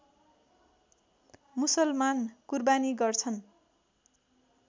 मुसलमान कुरबानी गर्छन्